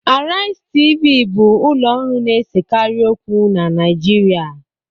Arise Television bụ ụlọ ọrụ na-esekarị okwu na Naịjirịa